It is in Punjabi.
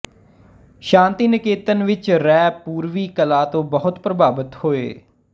ਸ਼ਾਂਤੀਨਿਕੇਤਨ ਵਿੱਚ ਰੇਅ ਪੂਰਵੀ ਕਲਾ ਤੋਂ ਬਹੁਤ ਪ੍ਰਭਾਵਿਤ ਹੋਏ